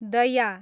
दया